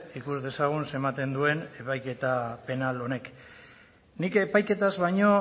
ikus dezagun ze ematen duen epaiketa penal honek nik epaiketaz baino